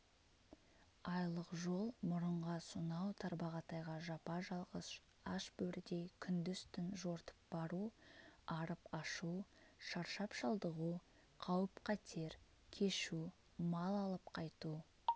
айлық жол мұрынға сонау тарбағатайға жапа-жалғыз аш бөрідей күндіз-түн жортып бару арып-ашу шаршап-шалдығу қауіп-қатер кешу мал алып қайту